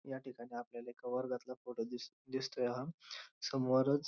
या ठिकाणी आपल्याला एका वर्गातला फोटो दिसतोय हा समोरच--